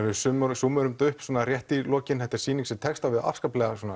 við súmmerum súmmerum þetta upp í lokin þetta er sýning sem tekst á við afskaplega